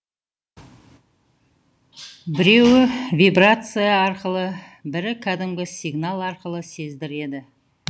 біреуі вибрация арқылы бірі кәдімгі сигнал арқылы сездіреді